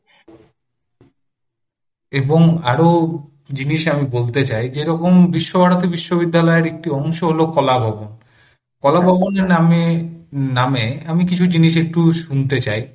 এবং আরও জিনিস আমি বলতে চাই যেরকম বিশ্বভারতী বিশ্ববিদ্যালয়ের একটি অংশ হল কলাভবন, কলাভবন নামে নামে কিছু জিনিস আমি একটু শুনতে চাই